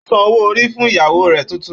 Ó san owó orí fún ìyàwó rẹ̀ tuntun